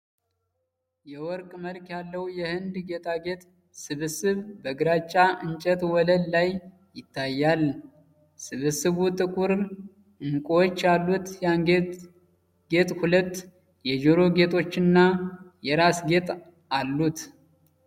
የወርቅ መልክ ያለው የህንድ ጌጣጌጥ ስብስብ በግራጫ እንጨት ወለል ላይ ይታያል። ስብስቡ ጥቁር እንቁዎች ያሉት የአንገት ጌጥ፣ ሁለት የጆሮ ጌጦችና የራስ ጌጥ አሉት።